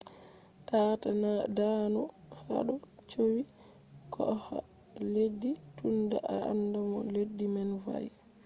taata daanu hado cowi koha leddi tunda a anda no leddi man va’e